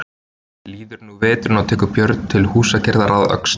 Líður nú af veturinn og tekur Björn til húsagerðar að Öxl.